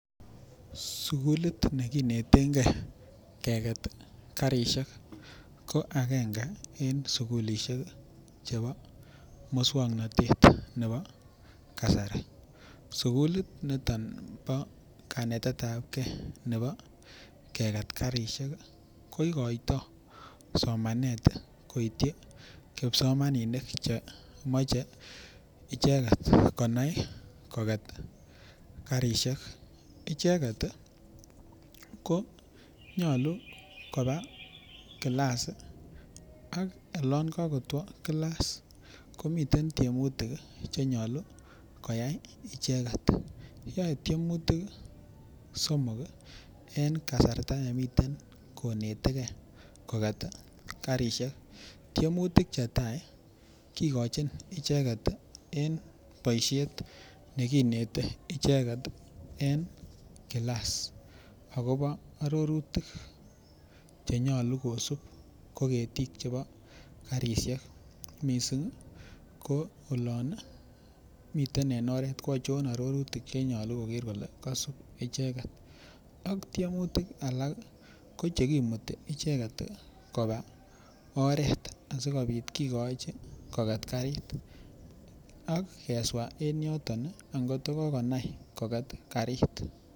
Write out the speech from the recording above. Sukulit ne kinetenge keket karisiek ko agenge en sukulisiek chebo moswoknatet nebo kasari sukulit niton nebo kanetet ab ge nebo keget karisiek ko igoitoi somanet koityi kipsomaninik Che moche icheget konai koget karisiek icheget ko nyolu koba kilas ak olon ko kotwo kilas komiten tiemutik Che nyolu koyai icheget yoe tiemutik somok en kasarta nemiten konetege koket karisiek tiemutik Che tai kigochin icheget en boisiet ne kinete icheget en kilas agobo arorutik Che nyolu kosub ko ketik chebo karisiek mising ko olon miten en oret ko achon arorutik Che nyolu koger kole kaisub icheget ak tiemutik Alak ko Che kimuti icheget koba oret asikobit kigochi koket karit ak keswa en yoton angot ko konai koket karit